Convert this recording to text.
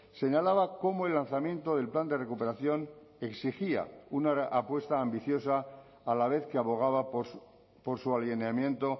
señalaba cómo el lanzamiento del plan de recuperación exigía una apuesta ambiciosa a la vez que abogaba por su alineamiento